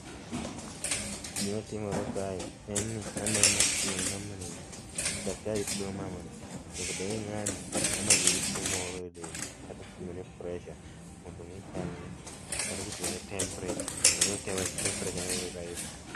Gima timore kae en ni aneno kipimone mamani, daktari pimo mamani, nyakabed ni ng'ani mamani nigi tuo moro e dende, kata kipimone pressure mondo ong'e chalne kata kipimone temperature mondo ong'e temperature rise